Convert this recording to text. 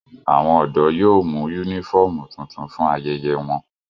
Awọn ọdọ yóò mu unifọmú tuntun fun ayẹyẹ wọn.